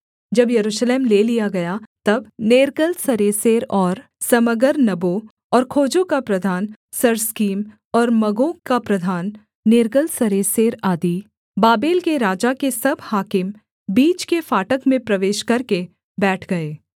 जब यरूशलेम ले लिया गया तब नेर्गलसरेसेर और समगर्नबो और खोजों का प्रधान सर्सकीम और मगों का प्रधान नेर्गलसरेसेर आदि बाबेल के राजा के सब हाकिम बीच के फाटक में प्रवेश करके बैठ गए